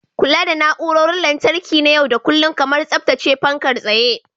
Kula da na'urorin lantarki na yau da kullun, kamar tsaftace fankar tsaye.